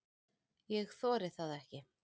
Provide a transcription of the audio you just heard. Ég þori það ekki.